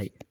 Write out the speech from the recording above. cabbiray.